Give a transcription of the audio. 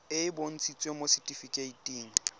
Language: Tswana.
e e bontshitsweng mo setifikeiting